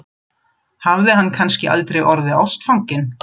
Hafði hann kannski aldrei orðið ástfanginn?